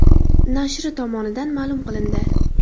nashri tomonidan ma’lum qilindi .